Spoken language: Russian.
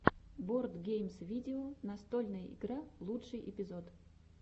бордгеймс видео настольная игра лучший эпизод